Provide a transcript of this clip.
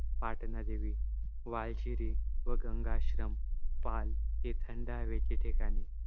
पाटणा देवी, वाळशीरी व गंगाआश्रम, पाल, हे थंड हवेचे ठिकाण